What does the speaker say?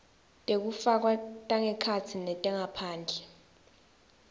tekufakwa tangekhatsi netangephandle